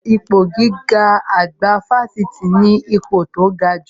Ipò gíwá àgbà Fáṣítì ni ipò tó gajù